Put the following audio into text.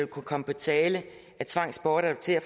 komme på tale at tvangsbortadoptere